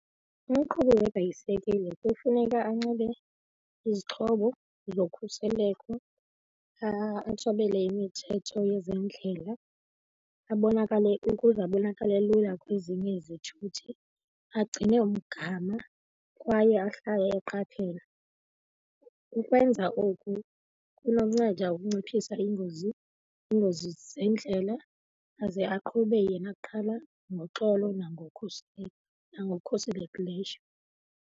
Umqhubi webhayisekile kufuneka anxibe izixhobo zokhuseleko, athobele imithetho yezendlela, abonakale ukuze abonakale lula kwezinye izithuthi, agcine umgama kwaye ahlale eqaphela. Ukwenza oku kunokunceda ukunciphisa iingozi, iingozi zeendlela, aze aqhube yena kuqala ngoxolo nangokukhuselekileyo.